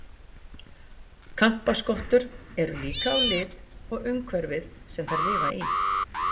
Kampaskottur eru líkar á lit og umhverfið sem þær lifa í.